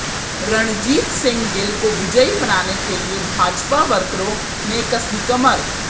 रणजीत सिंह गिल को विजयी बनाने के लिए भाजपा वर्करों ने कसी कमर